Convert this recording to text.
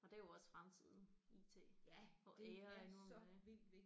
Og det er jo også fremtiden IT for alle nu om dage